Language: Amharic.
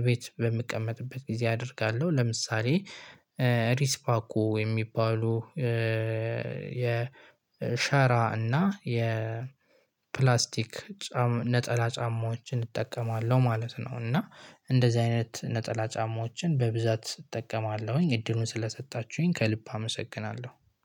እቤት በምቀመጥበት ጊዜ አደርጋለሁ ለምሳሌ ሪስፓኮ የሚባሉ የ ሻራ እና የ ፕላስቲክ ጫም ነጠላ ጫማዎችን እጠቀማለሁ ማለት ነው። እና እንደዚህ አይነት ነጠላ ጫማዎችን በብዛት እጠቀማለሁኝ እድሉን ስለሰጣችሁኝ ከልብ አመሰግናለሁ